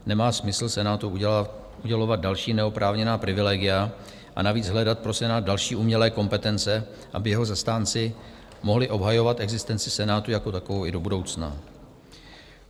Nemá smysl Senátu udělovat další neoprávněná privilegia a navíc hledat pro Senát další umělé kompetence, aby jeho zastánci mohli obhajovat existenci Senátu jako takovou i do budoucna.